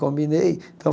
Combinei. Então